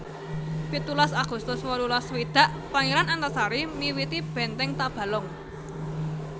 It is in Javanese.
pitulas agustus wolulas swidak Pangeran Antasari miwiti Benteng Tabalong